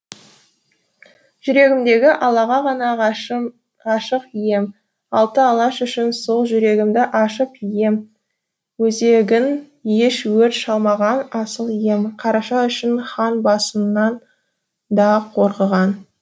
жүрегімдегі аллаға ғана ғашық ем алты алаш үшін сол жүрегімді ашып ем өзегін еш өр шалмаған асыл ем қараша үшін хан басынан да қорғыған